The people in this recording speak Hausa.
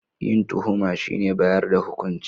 Yin tuhuma shine bayar da hukunci